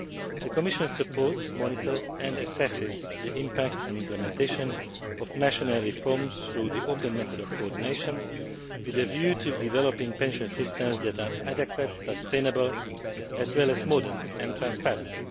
The Commission supports, monitors and assesses the impact and implementation of national reforms through the open method of coordination with a view to developing pension systems that are adequate, sustainable, as well as modern and transparent.